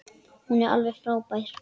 Hún er alveg frábær.